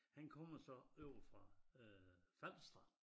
Han kommer så ovre fra øh Falster